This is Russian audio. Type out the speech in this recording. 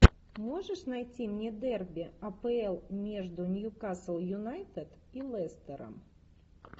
можешь найти мне дерби апл между ньюкасл юнайтед и лестером